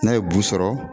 N'a ye bu sɔrɔ